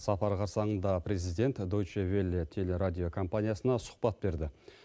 сапар қарсаңында президент деуче велле телерадио компаниясына сұхбат берді